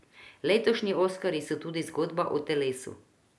Letošnji oskarji so tudi zgodba o telesu.